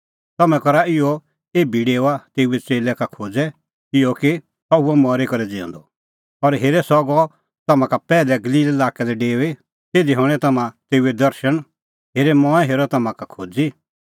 तम्हैं करा इहअ एभी डेओआ तेऊए च़ेल्लै का खोज़ै इहअ कि सह हुअ मरी करै ज़िऊंदअ और हेरे सह गअ तम्हां का पैहलै गलील लाक्कै लै डेऊई तिधी हणैं तम्हां तेऊए दर्शण हेरे मंऐं हेरअ तम्हां का खोज़ी